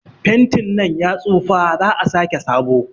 Fentin nan ya tsufa, za'a sake sabo.